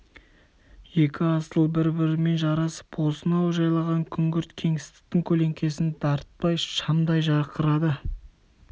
екі асыл бір-бірімен жарасып осынау жайлаған күңгірт кеңістіктің көлеңкесін дарытпай шамдай жарқырады